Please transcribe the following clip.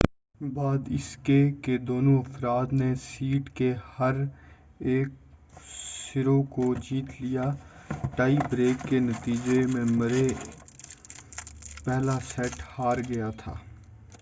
بعد اس کے کہ دونوں افراد نے سیٹ کے ہر ایک سرو کو جیت لیا ٹائی بریک کے نتیجہ میں مرے پہلا سیٹ ہار گیا